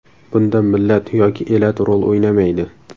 Bunda millat yoki elat rol o‘ynamaydi.